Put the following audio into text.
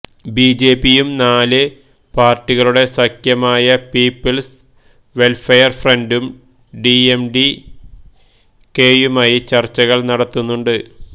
B J പിയും നാല് പാര്ട്ടികളുടെ സഖ്യമായ പീപ്പിള്സ് വെല്ഫെയര് ഫ്രണ്ടും ഡി എം ഡി കെയുമായി ചര്ച്ചകള് നടത്തുന്നുണ്ട്